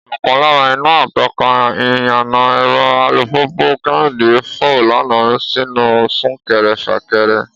Ọ̀kan lára iná atọ́ka iyana ẹ̀rọ alùpùpù Kẹ́hìndé fọ́ lánàá nínú súnkẹrẹ-fàkẹrẹ